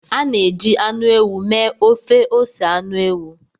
A na-eji anụ ewu mee ofe ose anụ ewu.